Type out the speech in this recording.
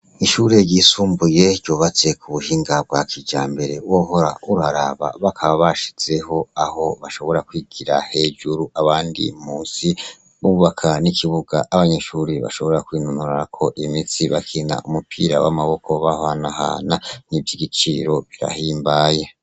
Ishure ryisumbuye ryubatse ku buhinga bwa kijambere wohora uraraba, bakaba bashizeho aho bashobora kwigira hejuru abandi musi, bubaka n'ikibuga abanyeshure bashobora kwinonorerako imitsi bakina umupira w'amaboko bahanahana, ni ivyo igiciro birahimbaye.